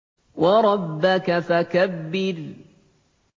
وَرَبَّكَ فَكَبِّرْ